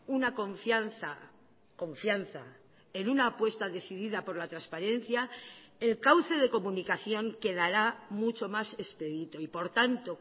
una confianza confianza en una apuesta decidida por la transparencia el cauce de comunicación quedará mucho más expedito y por tanto